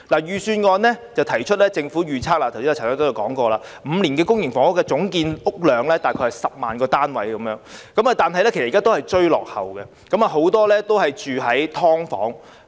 預算案提到政府預測未來5年的公營房屋總建屋量大約是10萬個單位，但其實現在仍然是追落後，很多人也居於"劏房"。